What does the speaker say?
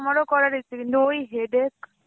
আমার করার ইচ্ছে কিন্তু ওই headache.